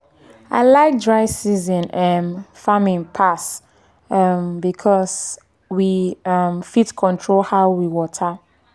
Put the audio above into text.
i like dry season um farming pass um because we um fit control how we water.